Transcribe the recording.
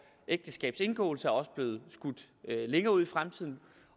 ægteskabs indgåelse er også blevet skudt længere ud i fremtiden